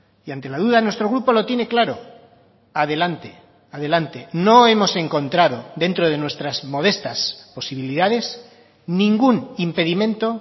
y ante la duda nuestro grupo lo tiene claro adelante adelante no hemos encontrado dentro de nuestras modestas posibilidades ningún impedimento